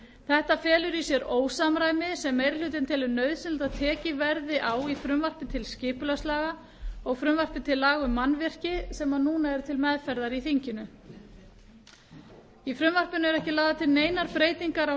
þetta felur í sér ósamræmi sem meiri hlutinn telur nauðsynlegt að tekið verði á í frumvarpi til skipulagslaga og frumvarpi til laga um mannvirki sem til meðferðar eru í þinginu í frumvarpinu er ekki lagðar til neinar breytingar á